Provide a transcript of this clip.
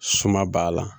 Suma b'a la